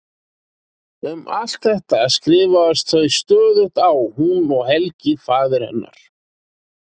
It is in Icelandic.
Um allt þetta skrifast þau stöðugt á hún og Helgi faðir hennar.